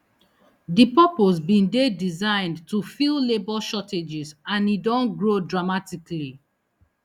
di purpose bin dey designed to fill labour shortages and e don grow dramatically